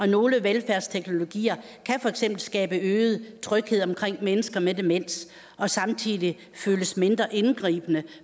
nogle velfærdsteknologier kan for eksempel skabe øget tryghed omkring mennesker med demens og samtidig føles mindre indgribende